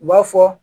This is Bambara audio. U b'a fɔ